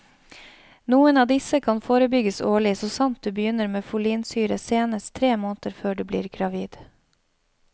Noen av disse kan forebygges årlig så sant du begynner med folinsyre senest tre måneder før du blir gravid.